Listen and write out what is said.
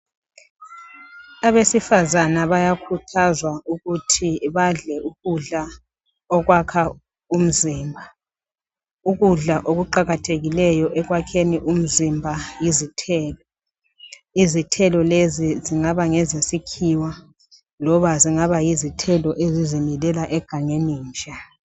Abesifazana bayakhuthazwa ukuthi badle ukudla okwakha umzimba, ukudla okuqakathekileyo ekwakheni umzimba yizithelo. Izithelo lezi zingaba ngezesikhiwa loba zingaba yizithelo ezizimilela egangeni nje.